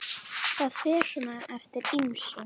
Það fer svona eftir ýmsu.